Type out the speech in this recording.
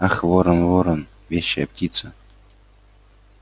ах ворон ворон вещая птица